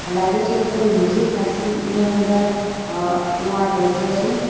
આ લાગે છે કે કોઈ મ્યુઝિક ક્લાસ ન-ની અંદર અહ નો આ દ્રશ્ય છે.